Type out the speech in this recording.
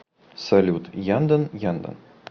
салют яндан яндан